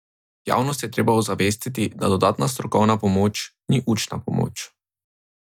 Javnost je treba ozavestiti, da dodatna strokovna pomoč ni učna pomoč.